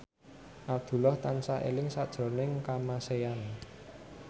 Abdullah tansah eling sakjroning Kamasean